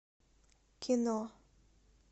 кино